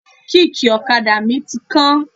Kíìkì ọ̀kadà mi ti kán.